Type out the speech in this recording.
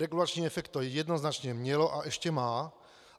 Regulační efekt to jednoznačně mělo a ještě má.